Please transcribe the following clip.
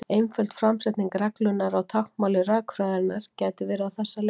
Einföld framsetning reglunnar á táknmáli rökfræðinnar gæti verið á þessa leið: